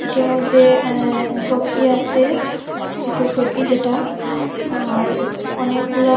এটার মধ্যে অ্যা সৌকি আসে সোটো চৌকি যেটা আর অনেকগুলা--